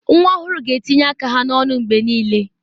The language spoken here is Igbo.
Nwa ọhụrụ ga-etinye aka ha n'ọnụ mgbe niile.